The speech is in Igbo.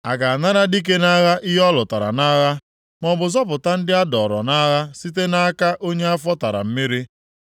A ga-anara dike nʼagha ihe ọ lụtara nʼagha, maọbụ zọpụta ndị a dọọrọ nʼagha site nʼaka onye afọ tara mmiri + 49:24 Ndị onye ezi omume dọtara nʼagha, a ga-eme ka ha wezuga onwe ha.?